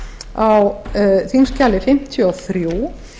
á þingskjali fimmtíu og þrjú